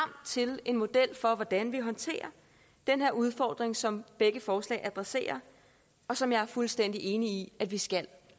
til en model for hvordan vi håndterer den udfordring som begge forslag adresserer og som jeg er fuldstændig enig i at vi skal